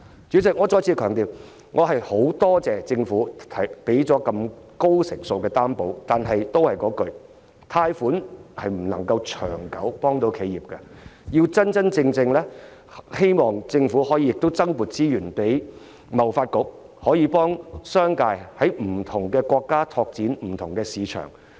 主席，我再次強調，我十分感謝政府提供的高成數擔保，但貸款並不能長遠地幫助企業，希望政府可以增撥資源給貿易發展局，真正幫助商界在不同國家拓展市場。